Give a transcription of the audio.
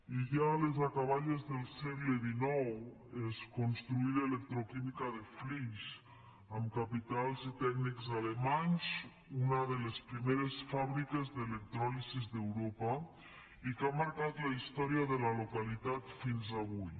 i ja a les acaballes del segle xix es construí l’electroquímica de flix amb capitals i tècnics alemanys una de les primeres fàbriques d’electròlisi d’europa i que ha marcat la història de la localitat fins avui